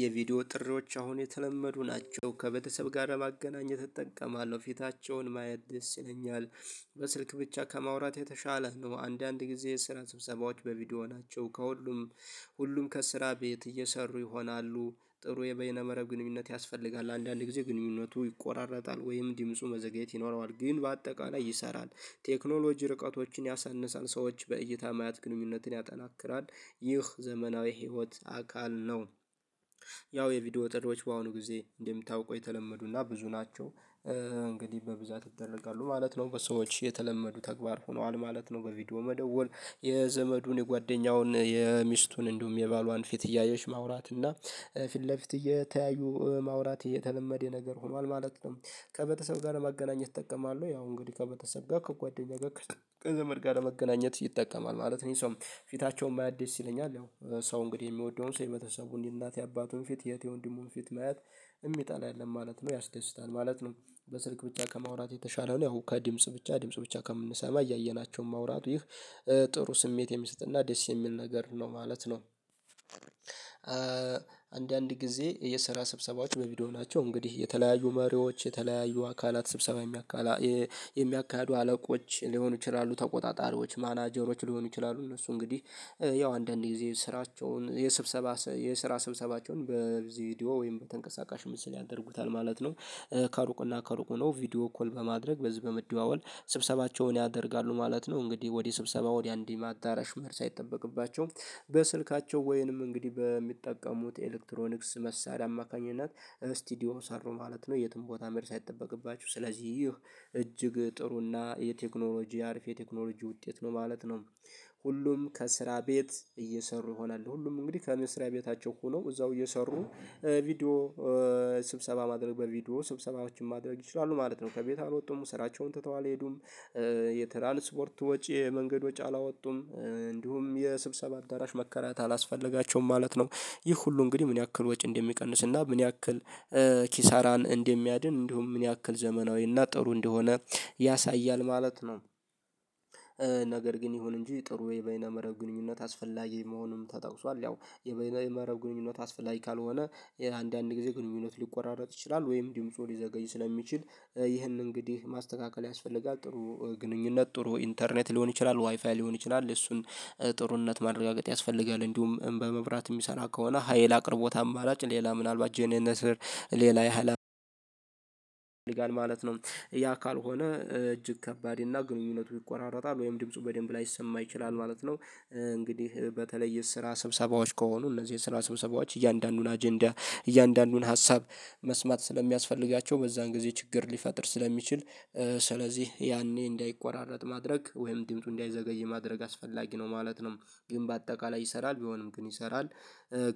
የቪዲዮ ጥሪዎች አሁን የተለመዱ ናቸው ከቤተሰብ ጋር ለማገናኘት እጠቀማለሁ ፊታቸውን ማየት ደስ ይለኛል። በስልክ ብቻ ከማውራት የተሻለ ነው። አንዳንድ ጊዜ የስራ ስብሰባዎች በቪዲዮ ናቸው። ከሁሉም ሁሉም ከስራ ቤት እየሰሩ ይሆናሉ። ጥሩ የበይነ መረብ ግንኙነት ያስፈልጋል አንዳንዴ ጊዜ ግንኙነቱ ይቆራረጣል ወይም ድምፁ መዘግየት ይኖረዋል ግን በአጠቃላይ ይሰራል። ቴክኖሎጂ ርቀቶችን ያሳንሳል ሰዎች በእይታ ማያት ግንኙነትን ያጠናክራል። ይህ ዘመናዊ ህይወት አካል ነው። ያው የቪዲዮ ጥሪዎች በአሁኑ ጊዜ እንደሚታውቀው የተለመዱና ብዙ ናቸው እንግዲህ በብዛት ይደረጋሉ ማለት ነው በሰዎች የተለመዱ ተግባር ሆኗል ማለት ነው። በቪዲዮ መደወል የዘመዱን የጓደኛውን የሚስቱን እንደውም የባሏን ፊት እያየች ማውራት እና ፊት ለፊት እየተያዩ ማውራት እየተለመደ ነገር ሆኗል ማለት ነው። ከቤተሰብ ጋር ለማገናኘት እጠቀማለሁ ያው እንግዲህ ከቤተሰብ ጋር ከጓደኛ ጋር ከዘመድ ጋር ለመገናኘት ይጠቀማል ማለት ነው። ይሄ ሰው ማየት ደስ ይለኛል ያው ሰው እንግዲህ የሚወደውን ሰው የቤሰቡን የእናት የአባቱን ፊት የእህት የወንድሙን ፊት ማየት የሚጠላ የለም ማለት ነው ያስደስታል ማለት ነው። በስልክ ብቻ ከማውራት የተሻለ ነው ያው ከድምጽ ብቻ ድምጽ ብቻ ከምንሰማ እያየናቸው ማውራት ይህ ጥሩ ስሜት የሚሰጥና ደስ የሚል ነገር ነው ማለት ነው። አንዳንድ ጊዜ የሰራ ስብሰባዎች በቪዲዮ ናቸው እንግዲህ የተለያዩ መሪዎች የተለያዩ አካላት ስብሰባ የሚያካ የሚያካሂዱ አለቆች ሊሆኑ ይችላሉ ተቆጣጣሪዎች ማናጀሮች ሊሆኑ ይችላሉ እነሱ እንግዲህ ያው አንዳንዴ ጊዜ ስራቸውን የስብሰባ የስራ ስብሰባቸውን በዚህ ቪዲዮ ወይም በተንቀሳቃሽ ምስል ያደርጉታል ማለት ነው። ከሩቅና ከሩቅ ሆኖ ቪዲዮ ኮል በማድረግ በዚህ በመደዋወል ስብሰባቸውን ያደርጋሉ ማለት ነው። እንግዲህ ወዲህ ስብሰባ ወዲህ አንድም አዳራሽ መሄድ ሳይጠበቅባቸው በስልካቸው ወይንም እንግዲህ በሚጠቀሙት ኤሌክትሮኒክስ መሳሪያ አማካኝነት ስቱዲዮ ሰሩ ማለት ነው የትም ቦታ መሄድ ሳይጠበቅባቸው ስለዚህ ይህ እጅግ ጥሩና የቴክኖሎጂ አሪፍ የቴክኖሎጂ ውጤት ነው ማለት ነው። ሁሉም ከስራ ቤት እየሰሩ ይሆናል ሁሉም እንግዲህ ከመስሪያ ቤታቸው ሆኖ እዛው እየሰሩ ቪዲዮ ስብሰባ ማድረግ በቪዲዮ ስብሰባዎችን ማድረግ ይችላሉ ማለት ነው። ከቤት አልወጡም ስራቸውን ትተው አልሄዱም። የትራንስፖርት ወጪ የመንገድ ወጪ አላወጡም እንዲሁም የስብሰባ አዳራሽ መከራት አላስፈለጋቸውም ማለት ነው። ይህ ሁሉ እንግዲህ ምን ያክል ወጪ እንደሚቀንስና ምን ያክል ኪሳራን እንደሚያድን እንዲሁም ምን ያክል ዘመናዊና ጥሩ እንደሆነ ያሳያል ማለት ነው። ነገር ግን ይሁን እንጂ ጥሩ የበይነ መረብ ግንኙነት አስፈላጊ መሆኑም ተጠቅሷል። ያው የበይነ መረብ ግንኙነት አስፈላጊ ካልሆነ አንዳንድ ጊዜ ግንኙነት ሊቆራረጥ ይችላል ወይም ድምፁ ሊዘገይ ስለሚችል ይህንን እንግዲህ ማስተካከል ያስፈልጋል። ጥሩ ግንኙነት ጥሩ ኢንተርኔት ሊሆን ይችላል ዋይፋይ ሊሆን ይችላል እሱን ጥሩነት ማረጋገጥ ያስፈልጋል። እንዲሁም በመብራት የሚሰራ ከሆነ ሀይል አቅርቦት አማራጭ ሌላ ምናልባት ጄኔነተር ሌላ የሀይል ማለት ነው። ያ ካልሆነ እጅግ ከባድ እና ግንኙነቱ ይቆራረጣል ወይም ድምፁ በደንብ ላይሰማ ይችላል ማለት ነው። እንግዲህ በተለይ የስራ ስብሰባዎች ከሆኑ እነዚህ የስራ ስብሰባዎች እያንዳንዱን አጀንዳ እያንዳንዱን ሀሳብ መስማት ስለሚያስፈልጋቸው በዛን ጊዜ ችግር ሊፈጥር ስለሚችል ስለዚህ ያኔ እንዳይቋራረጥ ማድረግ ወይም ድምፁ እንዳይዘገይ ማድረግ አስፈላጊ ነው ማለት ነው። ግን በአጠቃላይ ይሰራል ቢሆንም ግን ይሰራል።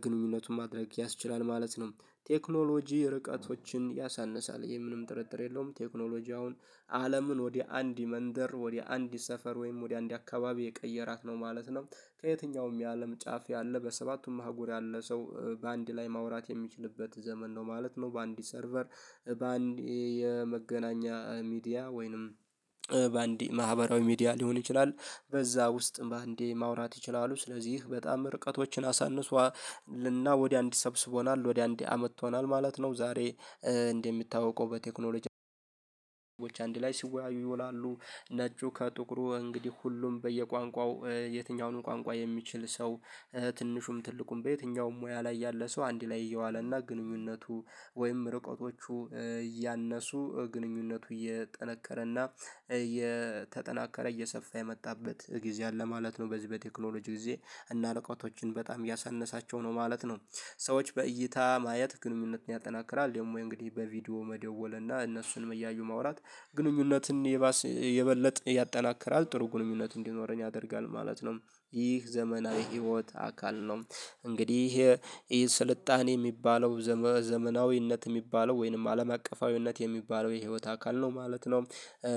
ግንኙነቱን ማድረግ ያስችላል ማለት ነው። ቴክኖሎጂ ርቀቶችን ያሳንሳል ይሄ ምንም ጥርጥር የለውም ቴክኖሎጂ አሁን አለምን ወደ አንድ መንደር ወደ አንድ ሰፈር ወይም ወደ አንድ አካባቢ የቀየራት ነው ማለት ነው። ከየትኛውም የአለም ጫፍ ያለ በሰባቱም አህጉር ያለ ሰው በአንድ ላይ ማውራት የሚችልበት ዘመን ነው ማለት ነው። በአንድ ሰርቨር በአንድ የመገናኛ ሚዲያ ወይንም በአንድ ማህበራዊ ሚዲያ ሊሆን ይችላል። በዛ ውስጥ በአንዴ ማውራት ይችላሉ ስለዚህ በጣም ርቀቶችን አሳንሷልና ወደ አንድ ሰብስቦናል ወደ አንድ አመጥቶናል ማለት ነው። ዛሬ እንደሚታወቀው በቴክኖሎጂ ሰዎች አንድ ላይ ሲወያዩ ይወላሉ ነጩ ከጥቁሩ እንግዲህ ሁሉም በየቋንቋው የትኛውንም ቋንቋ የሚችል ሰው ትንሹም ትልቁም በየትኛውም ሙያ ላይ ያለ ሰው አንድ ላይ እየዋለና ግንኙነቱ ወይም ርቀቶቹ እያነሱ ግንኙነቱ እየጠነከረና የተጠናከረ እየሰፋ የመጣበት ጊዜ አለ ማለት ነው። በዚህ በቴክኖሎጂ ጊዜ እና እርቀቶችን በጣም ያሳነሳቸው ነው ማለት ነው። ሰዎች በእይታ ማየት ግንኙነትን ያጠናክራል ደግሞ እንግዲህ በቪዲዮ መደወል እና እነሱንም እያዩ ማውራት ግንኙነትን ይባስ የበለጠ ያጠናክራል ጥሩ ግንኙነት እንዲኖረኝ ያደርጋል ማለት ነው። ይህ ዘመናዊ ህይወት አካል ነው። እንግዲህ ይሄ ስልጣኔ የሚባለው ዘመናዊነት የሚባለው ወይንም አለም አቀፋዊነት የሚባለው የህይወት አካል ነው ማለት ነው።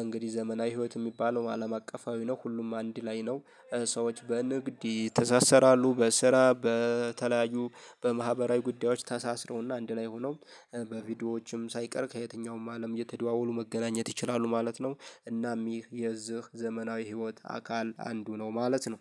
እንግዲህ ዘመናዊ ህይወት የሚባለው አለም አቀፋዊ ነው ሁሉም አንድ ላይ ነው። ሰዎች በንግድ ይተሳሰራሉ በስራ በተለያዩ በማህበራዊ ጉዳዮች ታሳስረውና አንድ ላይ ሆነው በቪዲዮዎችም ሳይቀር ከየትኛውም አለም እየተደዋወሉ መገናኘት ይችላሉ ማለት ነው። እናም ይህ የዚህ ዘመናዊ ህይወት አካል አንዱ ነው ማለት ነው